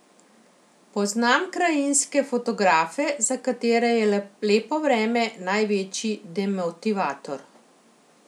Poznam krajinske fotografe, za katere je lepo vreme največji demotivator.